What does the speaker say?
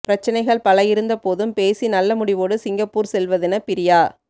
பிரச்சனைகள் பல இருந்த போதும் பேசி நல்ல முடிவோடு சிங்கப்பூர் செல்வதென பிரியா